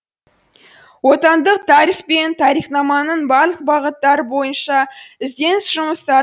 отандық тарих пен тарихнаманын барлық бағыттары бойынша ізденіс жұмыстары